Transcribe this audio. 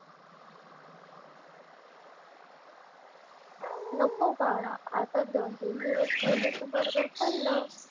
नको बाळा. आता दोन तीन दिवस पहिले तू बर्गर खाल्लं.